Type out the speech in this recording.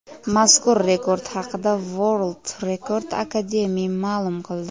Mazkur rekord haqida World Record Academy ma’lum qildi .